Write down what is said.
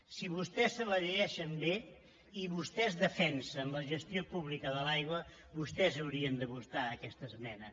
si vostès se la llegeixen bé i vostès defensen la gestió pública de l’aigua vostès haurien de votar aquesta esmena